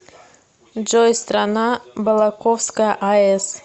джой страна балаковская аэс